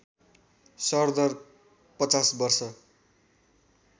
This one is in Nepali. सरदर ५० वर्ष